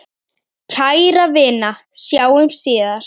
Kæra vina, sjáumst síðar.